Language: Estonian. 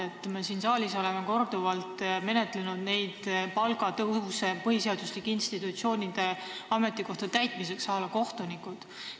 Me oleme siin saalis korduvalt arutanud palgatõuse põhiseaduslike institutsioonide ametikohtade täitmiseks, näiteks võib tuua kohtunikud.